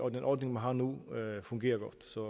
at den ordning man har nu fungerer godt så